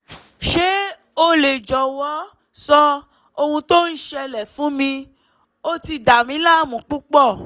ṣé o lè jọ̀wọ́ sọ ohun tó ń ṣẹlẹẹ̀ fún mi? ó ti dàmí láàmú púpọ̀